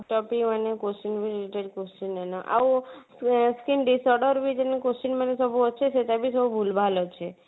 topic ମାନେ question ବି ଟେ question ଟେ ନା ଆଉ ଆଁ skin disorder ଯିନେ question ମାନେ ସବୁ ଅଛି ସେଇଟାବି ସବୁ ଭୁଲଭାଲ ଅଛି